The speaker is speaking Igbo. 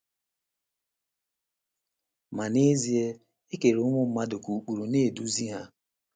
Ma n’ezie, e kere ụmụ mmadụ ka ụkpụrụ na - eduzi ha.